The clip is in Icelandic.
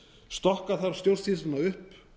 stokka þarf stjórnsýsluna upp